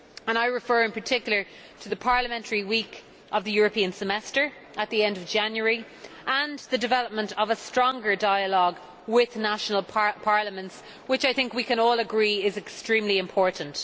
I refer in particular to the Parliamentary Week of the European Semester at the end of January and the development of a stronger dialogue with national parliaments, which I think we can all agree is extremely important.